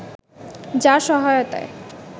যার সহায়তায়